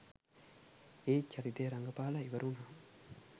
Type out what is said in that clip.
ඒත් චරිතය රඟපාලා ඉවර වුණාම